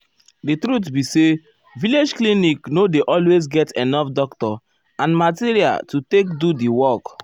di truth be say village clinic nor dey always get enough doctor and material to take do di work.